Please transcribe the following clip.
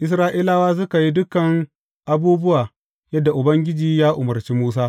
Isra’ilawa suka yi dukan abubuwa yadda Ubangiji ya umarci Musa.